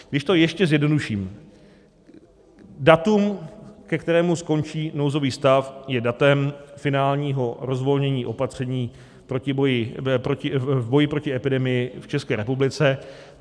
Když to ještě zjednoduším, datum, ke kterému skončí nouzový stav, je datem finálního rozvolnění opatření v boji proti epidemii v České republice.